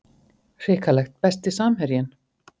hrikalegt Besti samherjinn?